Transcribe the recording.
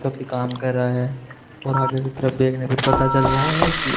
जो कि काम कर रहा है और आगे की तरफ देखने पे पता चल रहा है कि--